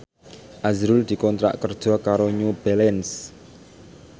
azrul dikontrak kerja karo New Balance